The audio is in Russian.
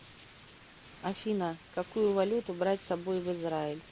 афина какую валюту брать с собой в израиль